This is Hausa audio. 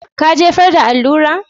Ka jefar da allurar?